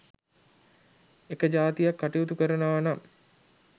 එක ජාතියක් කටයුතු කරනවා නම්